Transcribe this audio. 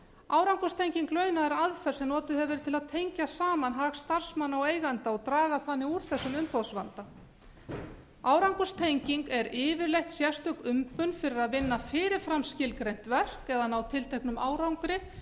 árangurstenging launa er aðferð sem notuð hefur verið til að tengja saman hag starfsmanna og eigenda og draga þannig úr þessum umboðsvanda árangurstenging er yfirleitt sérstök umbun fyrir að vinna fyrir fram skilgreint verk eða ná tilteknum árangri